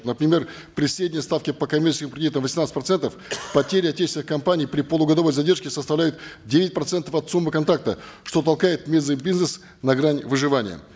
например при средней ставке по комиссии и кредитам восемнадцать процентов потеря отечественных компаний при полугодовой задержке составляет девять процентов от суммы контракта что толкает местный бизнес на грань выживания